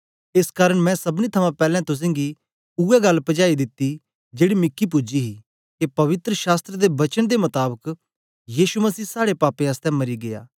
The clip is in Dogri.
एस कारन मैं सबनी थमां पैलैं तुसेंगी उवै गल्ल पजाई दित्ती जेड़ी मिकी पूजी ही के पवित्र शास्त्र दे वचन दे मताबक यीशु मसीह साड़े पापें आसतै मरी गीया